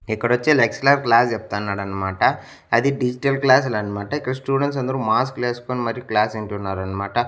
ఇక్కడొచ్చి lecturer class చెప్తాన్నాడన్మాట అది digital క్లాస్లన్మాట ఇక్కడ స్టూడెంట్స్ అందరూ మాస్కులేస్కొని మరి క్లాస్ ఇంటున్నారన్మాట.